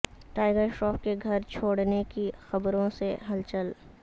tiger Shroff کے گھر چھوڑنے کی خبروں سے ہلچل